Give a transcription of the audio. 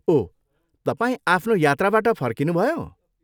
ओह, तपाईँ आफ्नो यात्राबाट फर्किनुभयो?